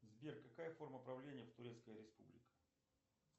сбер какая форма правления в турецкой республике